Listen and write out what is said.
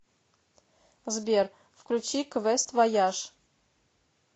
сбер включи квест вояж